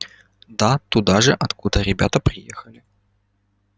да туда же откуда ребята приехали